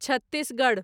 Chhattisgarh